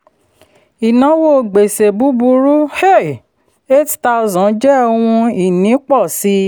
ìnáwó gbèsè búburú um eight thousand jẹ́ ohun ìní pọ̀ sí.